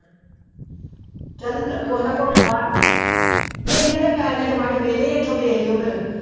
ਚੱਲ ਕੁਛ ਨਾ ਕੁਛ ਬਾ ਨੀ ਇਹਨਾਂ ਦੇ ਪੈਲੀਆਂ ਚੋਂ ਵੱਢ ਵਿਹਲੇ ਆ ਇੱਥੋਂ ਵੇਖ ਲਇਓ ਫਿਰ।